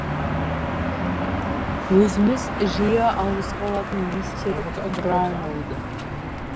өзіміз жиі ауызға алатын мистер браунлоуды